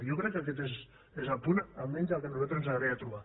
jo crec que aquest és el punt almenys el que nosaltres ens agradaria trobar